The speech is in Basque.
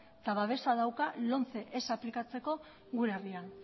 eta babesa dauka lomce ez aplikatzeko gure herrian